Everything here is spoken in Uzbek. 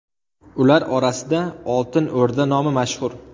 Ular orasida Oltin O‘rda nomi mashhur.